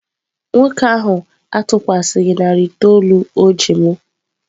Nwoke ahụ atụkwasịghị narị itoolu o ji m.